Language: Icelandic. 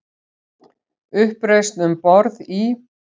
Uppreisn um borð í